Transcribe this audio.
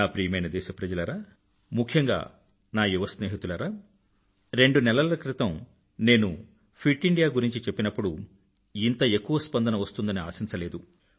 నా ప్రియమైన దేశప్రజలారా ముఖ్యంగా నా యువ స్నేహితులారా రెండు నెలల క్రితం నేను ఫిట్ ఇండియా గురించి చెప్పినప్పుడు ఇంత ఎక్కువ స్పందన వస్తుందని ఆశించలేదు